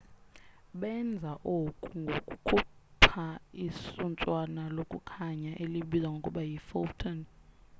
benza oku ngokukhupha isuntswana lokukhanya elibizwa ngokuba yi photon